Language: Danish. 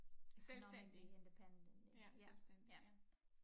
Selvstændig ja selvstændig ja